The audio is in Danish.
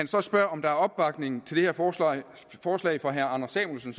så spørger om der er opbakning til det her forslag fra herre anders samuelsen